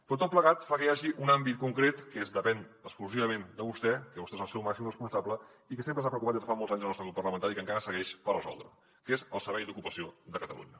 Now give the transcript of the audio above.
però tot plegat fa que hi hagi un àmbit concret que depèn exclusivament de vostè que vostè n’és el seu màxim responsable que sempre ens ha preocupat des de fa molts anys al nostre grup parlamentari i que encara segueix per resoldre què és el servei d’ocupació de catalunya